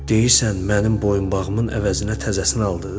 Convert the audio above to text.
Deyirsən, mənim boyunbağımın əvəzinə təzəsini aldınız?